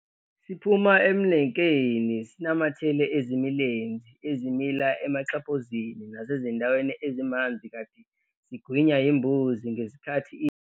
Siphuma emnenkeni sinamathele ezimilenzi ezimila emaxhaphozini nasezindaweni ezimanzi kanti sigwinya yimbuzi ngesikhathi idla lapho.